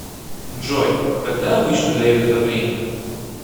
джой когда обычно дают отопление